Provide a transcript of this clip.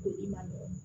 Ko i ma nɔgɔn